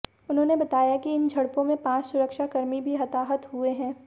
उन्होंने बताया कि इन झड़पों में पांच सुरक्षाकर्मी भी हताहत हुए हैं